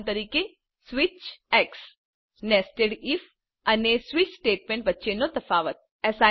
ઉદાહરણ તરીકે સ્વિચ અને નેસ્ટેડ ઇફ અને સ્વીચ સ્ટેટમેન્ટ વચ્ચેનો તફાવત